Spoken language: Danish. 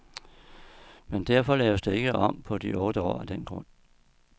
Men defor laves der ikke om på de otte år af den grund.